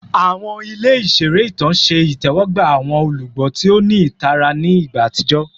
Awọn ile iṣere itan ṣe itẹwọgba awọn olugbo ti o ni itara ni igba atijọ